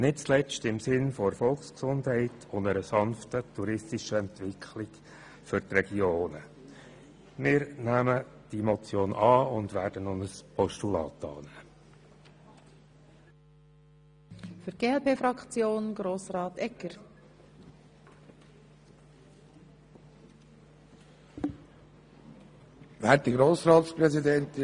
Nicht zuletzt im Sinne der Volksgesundheit und einer sanften touristischen Entwicklung für die Regionen nehmen wir diese Motion an und würden auch ein Postulat unterstützen.